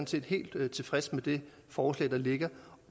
set helt tilfreds med det forslag der ligger